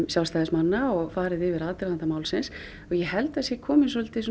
sjálfstæðismanna og fara yfir aðdraganda málsins og ég held að það sé kominn